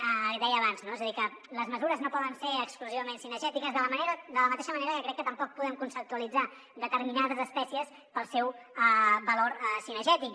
ho deia abans no és a dir que les mesures no poden ser exclusi·vament cinegètiques de la mateixa manera que crec que tampoc podem conceptua·litzar determinades espècies pel seu valor cinegètic